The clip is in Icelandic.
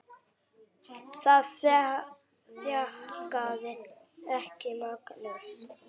Það þjakaði ekki Magnús.